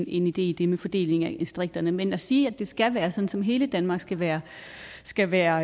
en idé i det med fordelingen af distrikter men at sige at det skal være sådan hele danmark skal være skal være